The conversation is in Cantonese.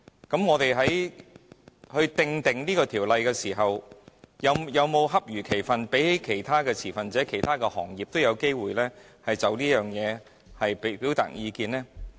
當我們訂定《條例草案》時，有否恰如其分地讓其他持份者或其他行業也有機會就此表達意見呢？